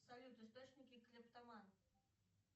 салют источники клептоман